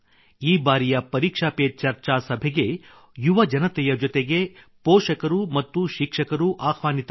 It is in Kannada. ಈ ಬಾರಿಯ ಪರೀಕ್ಷಾ ಪೆ ಚರ್ಚಾ ಸಭೆಗೆ ಯುವಜನತೆಯ ಜೊತೆಗೆ ಪೋಷಕರು ಮತ್ತು ಶಿಕ್ಷಕರೂ ಆಹ್ವಾನಿತರು